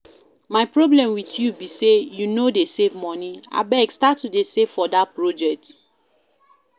My problem with you be say you no dey save money. Abeg start to save for dat project